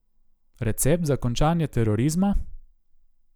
Recept za končanje terorizma?